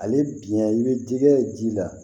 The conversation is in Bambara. Ale bina i bɛ dingɛ ji la